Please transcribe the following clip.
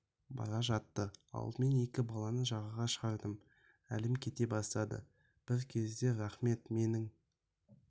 бара жатты алдымен екі баланы жаға шығардым әлім кете бастады бір кезде рахмет менің